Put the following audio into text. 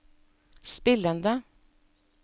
spillende